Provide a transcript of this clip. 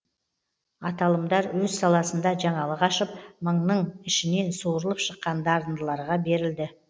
аталымдар өз саласында жаңалық ашып мыңның ішінен суырылып шыққан дарындыларға берілді